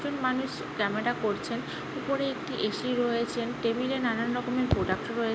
একজন মানুষ জামা তা পড়ছেন উপরে একটি এ.সি. রয়েছেন টেবিল -এ নানা রকমের প্রোডাক্ট রয়ে--